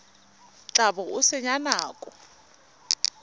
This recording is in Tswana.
tla bo o senya nako